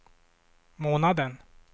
månaden